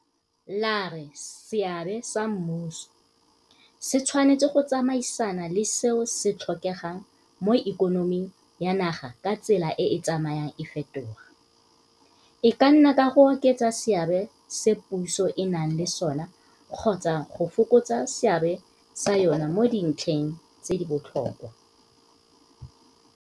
la re seabe sa mmuso se tshwanetse go tsamaisana le seo se tlhokegang mo ikonoming ya naga ka tsela e e tsamayang e fetoga, e ka nna ka go oketsa seabe se puso e nang le sona kgotsa go fokotsa seabe sa yona mo dintlheng tse di botlhokwa.